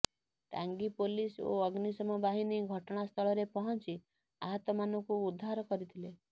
Tangi police ଓ ଅଗ୍ନିଶମ ବାହିନୀ ଘଟଣା ସ୍ଥଳରେ ପହଂଚି ଆହତ ମାନଙ୍କୁ ଉଦ୍ଧାର କରିଥିଲେ